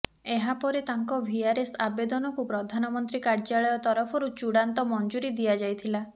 ଏହାପରେ ତାଙ୍କ ଭିଆରଏସ ଆବେଦନକୁ ପ୍ରଧାନମନ୍ତ୍ରୀ କାର୍ଯ୍ୟାଳୟ ତରଫରୁ ଚୂଡାନ୍ତ ମଂଜୁରୀ ଦିଆଯାଇଥିଲା